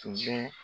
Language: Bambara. Tun bɛ